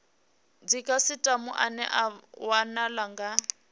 dzikhasitama ane a wanala kha